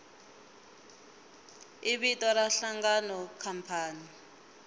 i vito ra nhlangano khampani